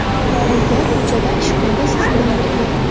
U uyda, ko‘chada, ishxonada siz bilan birga.